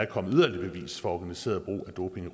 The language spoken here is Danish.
kommet yderligere bevis for organiseret brug af doping